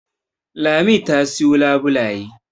Lami ta siyo labulaye